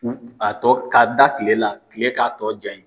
A tɔ ka da kile la, kile k'a tɔ ja ye.